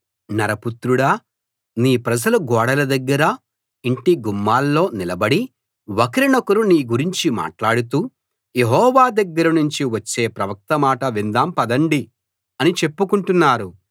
నరపుత్రుడా నీ ప్రజలు గోడల దగ్గర ఇంటి గుమ్మాల్లో నిలబడి ఒకరినొకరు నీ గురించి మాట్లాడుతూ యెహోవా దగ్గర నుంచి వచ్చే ప్రవక్త మాట విందాం పదండి అని చెప్పుకుంటున్నారు